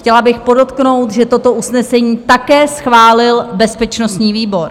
- Chtěla bych podotknout, že toto usnesení také schválil bezpečnostní výbor.